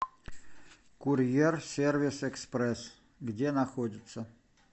курьерсервисэкспресс где находится